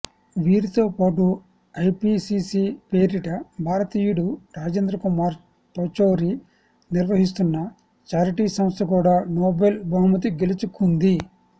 వీరితోపాటు IPCC పేరిట భారతీయుడు రాజేంద్రకుమార్ పచౌరి నిర్వహిస్తున్న ఛారిటీ సంస్థ కూడా నోబెల్ బహుమతి గెలుచుకుంది